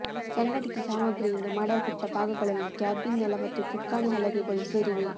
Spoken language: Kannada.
ಸಂಘಟಿತ ಸಾಮಗ್ರಿಯಿಂದ ಮಾಡಲ್ಪಟ್ಟ ಭಾಗಗಳಲ್ಲಿ ಕ್ಯಾಬಿನ್ ನೆಲ ಮತ್ತು ಚುಕ್ಕಾಣಿ ಹಲಗೆಗಳು ಸೇರಿವೆ